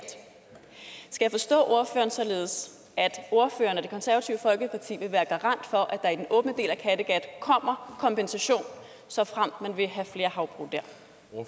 skal jeg forstå ordføreren således at ordføreren og det konservative folkeparti vil være garant for at der i den åbne del af kattegat kommer kompensation såfremt man vil have flere havbrug